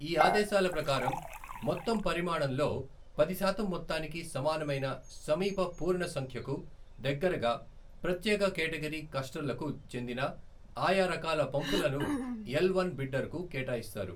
ఈ ఆదేశాల ప్రకారం మొత్తం పరిమాణంలో పది శాతం మొత్తానికి సమానమైన సమీప పూర్ణ సంఖ్యకు దగ్గరగా ప్రత్యేక కేటటగిరీ, క్లస్టర్కు చెందిన ఆయా రకాల పంపులను ఎల్ వన్ బిడ్డర్కు కేటాయిస్తారు.